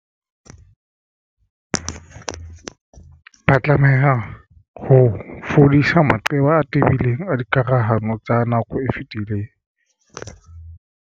Ba tlameha ho fodisa maqeba a tebileng a dikarohano tsa nako e fetileng.